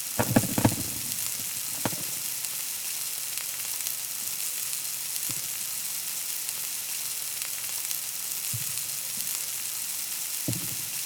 ሓንቲ ኣዶ ንህፃናት ኣብ ጎና ኣኽቢባ ምግቢ ተዳሉ ኣላ፡፡ እዚ ዝዳሎ ምግቢ ካብ ብዙሓት ግብኣታት ዝዳሎ ዝተመጣጠነ ምግቢ እዩ፡፡ እዚ ከዓ ንዕብየት ህፃናት ኣገዳሲ እዩ፡፡